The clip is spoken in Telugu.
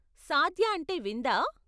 సాద్య అంటే విందా?